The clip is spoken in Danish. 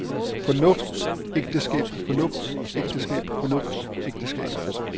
fornuftsægteskab fornuftsægteskab fornuftsægteskab